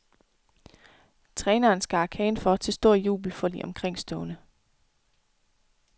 Træneren skar kagen for til stor jubel for de omkringstående.